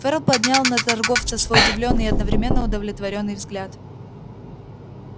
ферл поднял на торговца свой удивлённый и одновременно удовлетворённый взгляд